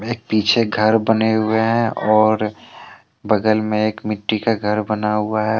एक पीछे घर बने हुए हैं और बगल में एक मिट्टी का घर बना हुआ है।